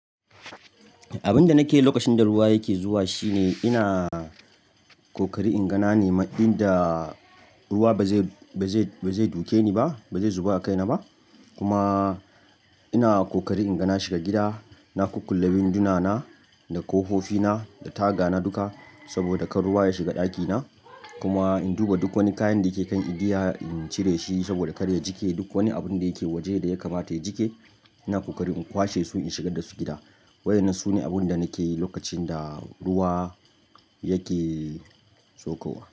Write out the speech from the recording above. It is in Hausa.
Abin da nake yi lokacin da ruwa yake zuwa shine ina kokarin inga na nema inda ruwa ba zai, ba zai, ba zai duke ni ba, ba zai zuba a kaina ba. Kuma ina kokarin inga na shiga gida, na kukkulla winduna na da ƙofofi na da taga na duka saboda kar ruwa ya shiga ɗakina. Kuma in duba duk wani kayan da ke kan igiya, in cire shi saboda kar ya jike. Duk wani abun da yake waje da ya kamata ya jike, ina kokarin in kwashe su in shigar da su gida. Wayenan sune abun da nake yi lokacin da ruwa yake saukova.